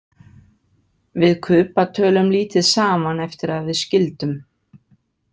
Við Kuba tölum lítið saman eftir að við skildum.